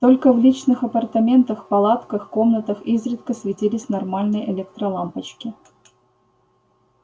только в личных апартаментах палатках комнатах изредка светились нормальные электролампочки